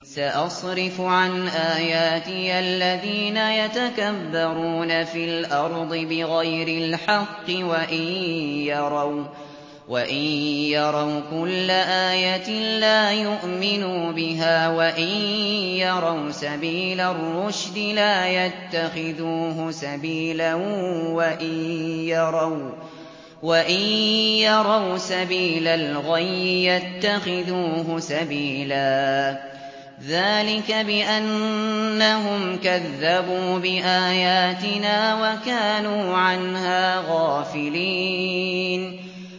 سَأَصْرِفُ عَنْ آيَاتِيَ الَّذِينَ يَتَكَبَّرُونَ فِي الْأَرْضِ بِغَيْرِ الْحَقِّ وَإِن يَرَوْا كُلَّ آيَةٍ لَّا يُؤْمِنُوا بِهَا وَإِن يَرَوْا سَبِيلَ الرُّشْدِ لَا يَتَّخِذُوهُ سَبِيلًا وَإِن يَرَوْا سَبِيلَ الْغَيِّ يَتَّخِذُوهُ سَبِيلًا ۚ ذَٰلِكَ بِأَنَّهُمْ كَذَّبُوا بِآيَاتِنَا وَكَانُوا عَنْهَا غَافِلِينَ